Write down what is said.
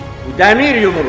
Bu dəmir yumruq.